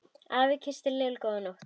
Afi kyssti Lillu góða nótt.